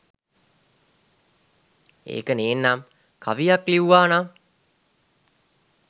ඒක නේන්නම් කවියක් ලිව්වා නම්